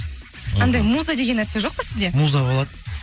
андай муза деген нәрсе жоқ па сізде муза болады